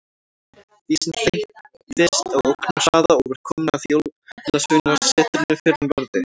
Dísin þeyttist á ógnarhraða og var komin að Jólasveinasetrinu fyrr en varði.